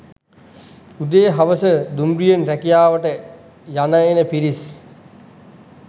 උදේ හවස දුම්රියෙන් රැකියාවට යන එන පිරිස්